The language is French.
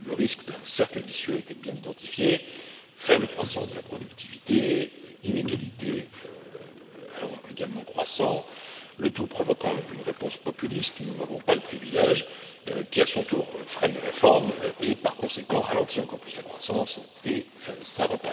Le risque d'un cercle vicieux était bien identifié faible croissance de la productivité, inégalités allant également croissant, le tout provoquant une réponse populiste nous n'en avons pas le privilège qui à son tour freine les réformes et, par conséquent, ralentit encore plus la croissance et ainsi de suite.